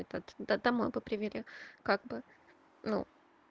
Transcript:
этот да домой бы привели как бы ну